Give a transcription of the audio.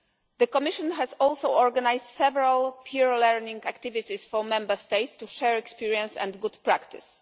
The Commission has also organised several peer learning activities for Member States to share experience and good practice.